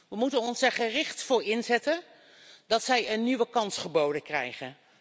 We moeten ons er gericht voor inzetten dat zij een nieuwe kans geboden krijgen.